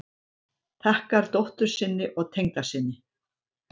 Þakkar dóttur sinni og tengdasyni